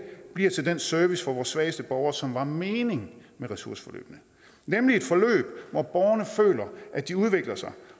bliver til den service for vores svageste borgere som var meningen med ressourceforløbene nemlig et forløb hvor borgerne føler at de udvikler sig